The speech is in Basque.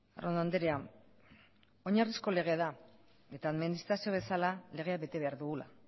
arrondo andrea oinarrizko legea da eta administrazio bezala legea bete behar dugula